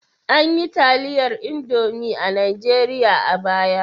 An yi taliyar Indomi a Najeriya a baya?